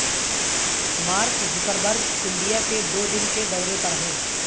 mark Zuckerberg India کے دو دن کے دورے پر ہیں